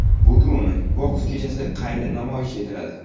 Bugun boks kechasi qayta namoyish etiladi.